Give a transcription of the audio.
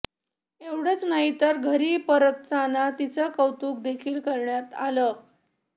एवढचं नाही तर घरी परतताना तिचं कौतुक देखील करण्यात आलं